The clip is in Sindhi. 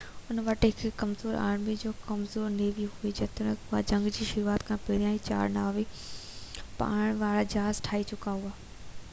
ان وٽ هڪ ڪمزور آرمي ۽ هڪ ڪمزور نيوي هئي جيتوڻيڪ اهي جنگ جي شروعات کان پهريان چار نوان پاڻي وارا جهاز ٺاهي چڪا هئا